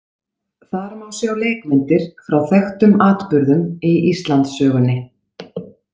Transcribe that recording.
Þar má sjá leikmyndir frá þekktum atburðum í Íslandssögunni.